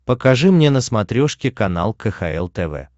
покажи мне на смотрешке канал кхл тв